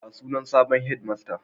Ya sunan sabon hedimastan?